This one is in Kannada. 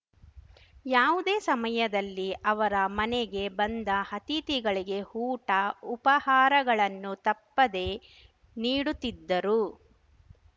ಯಾವುದೇ ಸಮಯದಲ್ಲಿ ಅವರ ಮನೆಗೆ ಬಂದ ಅತಿಥಿಗಳಿಗೆ ಊಟ ಉಪಹಾರಗಳನ್ನು ತಪ್ಪದೇ ನೀಡುತ್ತಿದ್ದರು